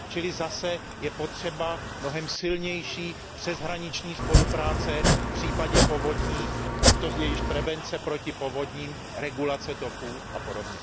Čili zase je potřeba mnohem silnější přeshraniční spolupráce v případě povodní, ať to je již prevence proti povodním, regulace toků apod.